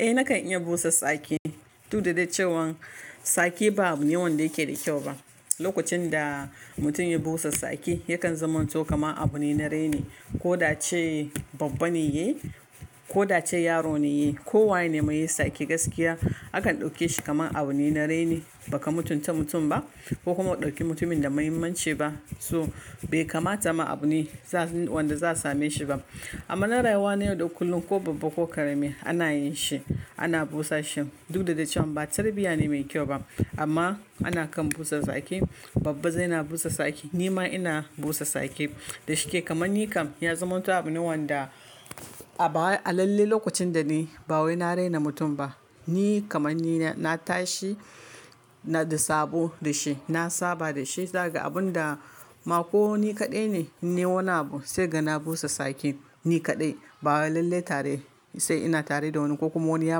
Eh nakan iya busa sake. Duk da da cewan sake ba abu ne wanda yake da kyau ba. Lokacin da mutum ya busa sake, yakan zamanto kama abu ne na raini. Ko da ce babba ne ya yi, ko da ce yaro ne ya yi, ko waye ne mai yi sake gaskiya, akan dauke shi kamar abu ne na raini. Baka mutunta mutum ba, ko kuma ɗauki mutumin da muhimmanci ba. So bai kamata ma abu ne wanda za same shi ba. Amma na rayuwa ne yau da kullum ko babba ko karami ana yin shi, ana busa shi. Du da da cewa ba tarbiyya ne mai kyau ba. Amma ana kan busa sake. Babba zai na busa sake. Ni ma ina busa sake. Da shike kamanni kam ya zamanto abu ne wanda a baya a lalle lokacin da ni ba wai na rena mutum ba. Ni kamanni na, na tashi ina a da sabo da shi. Na saba da shi. Sai ga abun da ma ko ni kaɗai ne, ne wanda sai ga na busa sake. Ni kaɗai. Ba a lalle tare sai ina tare da wani ko kuma wani ya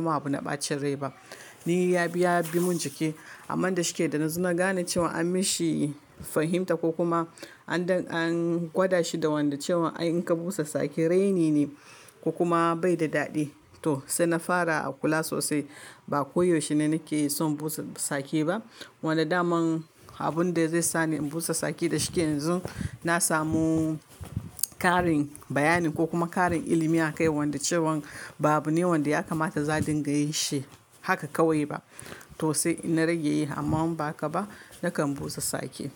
ma abu na ɓacin rai ba. Ni ya bi, ya bi mun jiki. Amman da shike da na zo na gane cewa an mishi fahimta ko kuma an don an gwada shi da wanda cewa in ka busa sake reni ne ko kuma bai da daɗi. To sai na fara a kula sosai. Ba koyaushe ne nake son busa sake ba. Wanda daman abun da zai sani in busa tsaki da shike yanzu, na samu ƙarin bayani ko kuma ƙarin ilimi a kai wanda cewa ba abu ne wanda ya kamata za dinga yin shi haka kawai ba. To sai na rage yi amman ba haka ba, nakan busa tsaki.